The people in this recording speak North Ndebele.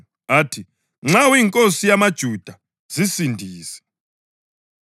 athi, “Nxa uyinkosi yamaJuda, zisindise.”